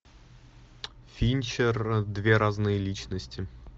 финчер две разные личности